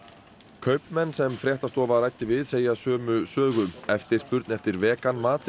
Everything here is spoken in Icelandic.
kaupmenn sem fréttastofa ræddi við segja sömu sögu eftirspurn eftir vegan mat eða